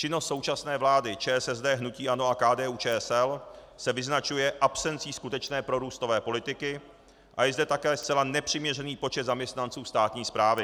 Činnost současné vlády ČSSD, hnutí ANO a KDU-ČSL se vyznačuje absencí skutečné prorůstové politiky a je zde také zcela nepřiměřený počet zaměstnanců státní zprávy.